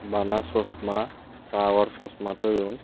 bana chosma sagor chosma thoyun.